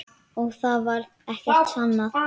Og þó varð ekkert sannað.